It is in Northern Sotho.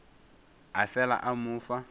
a fela a mo fa